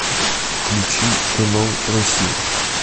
включи канал россия